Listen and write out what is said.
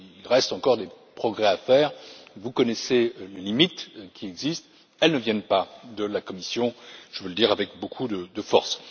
Il reste encore des progrès à faire. Vous connaissez les limites qui existent. Elles ne viennent pas de la Commission. Je veux le dire avec beaucoup de force.